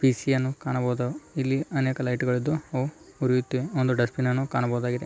P C ಯನ್ನು ಕಾಣಬಹುದು ಇಲ್ಲಿ ಅನೇಕ ಲೈಟುಗಳಿದ್ದು ಅವು ಉರಿಯುತ್ತಿವೆ ಒಂದು ಡಸ್ಟ್‌ಬಿನ್‌ ಅನ್ನು ಕಾಣಬಹುದಾಗಿದೆ.